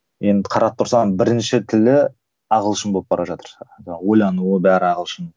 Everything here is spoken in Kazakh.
енді қарап тұрсам бірінші тілі ағылшын болып бара жатыр ойлануы бәрі ағылшын